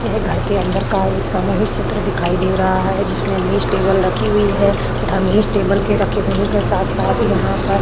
घर के अंदर का एक सामूहिक चित्र दिखाई दे रहा है। जिसमें मेज टेबल रखी हुई है तथा मेज टेबल के रखे होने के साथ-साथ यहाँ पर --